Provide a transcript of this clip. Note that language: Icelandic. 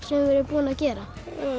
búin að gera